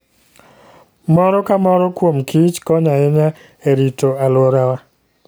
Moro ka moro kuom kich konyo ahinya e rito alworawa.